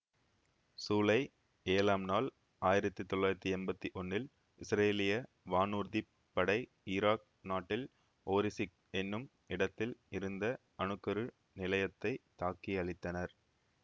சூலை ஏழாம் நாள் ஆயிரத்தி தொள்ளாயிரத்தி எம்பத்தி ஒன்னில் இசுரேலிய வானூர்திப் படை இராக் நாட்டில் ஓரிசிக் என்னும் இடத்தில் இருந்த அணு கரு நிலையத்தைத் தாக்கியழித்தனர்